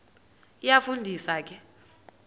iyafu ndisa ke